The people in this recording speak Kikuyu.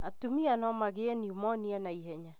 Atumia nomagĩe niumonia naihenya